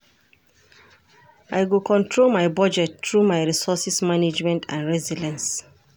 I go control my budget through my resources management and resilience.